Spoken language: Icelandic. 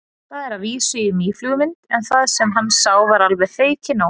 Það var að vísu í mýflugumynd en það sem hann sá var alveg feikinóg.